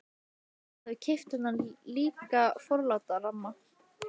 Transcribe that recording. Jón hafði keypt þennan líka forláta ramma.